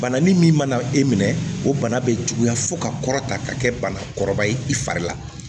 Bana min min mana e minɛ o bana bɛ juguya fo ka kɔrɔta ka kɛ banakɔrɔba ye i fari la